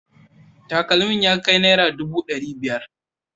Takalmin ya kai naira dubu dari biyar